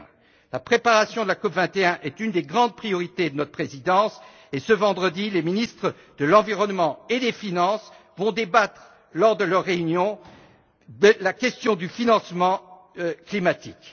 21. La préparation de la COP 21 est une des grandes priorités de notre présidence et, ce vendredi, les ministres de l'environnement et des finances débattront, lors de leur réunion, de la question du financement climatique.